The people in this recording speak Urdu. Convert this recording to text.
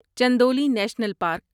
Chandauli national park